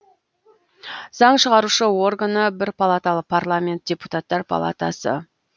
заң шығарушы органы бір палаталы парламент депутаттар палатасы